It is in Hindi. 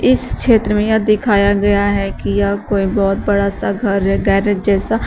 इस क्षेत्र में यह दिखाया गया है कि यह कोई बहुत बड़ा सा घर है गैरेज जैसा।